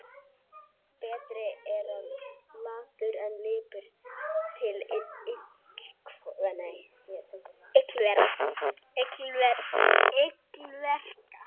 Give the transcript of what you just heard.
Betri er latur en lipur til illverka.